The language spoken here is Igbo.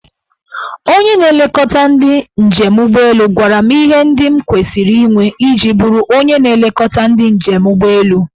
Onye na-elekọta ndị njem ụgbọelu gwara m ihe ndị m kwesiri inwe iji bụrụ onye na-elekọta ndị njem ụgbọelu.